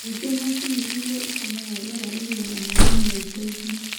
Ningĩ, macini ĩrĩa ĩtũmaga rĩera rĩgĩe na maaĩ no ĩteithie.